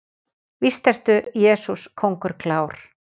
Víst ertu, Jesús, kóngur klár.